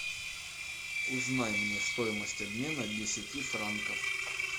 узнай мне стоимость обмена десяти франков